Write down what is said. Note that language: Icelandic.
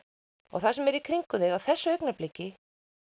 og það sem er í kringum þig á þessu augnabliki